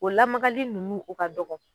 O lamagali nunnu o ka dɔgɔn